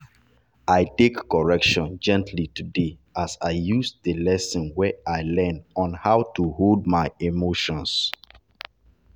i take correction gently today as i use the lesson wey i learn on how to hold my emotions.